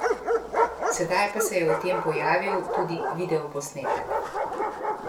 Sedaj pa se je o tem pojavil tudi videoposnetek!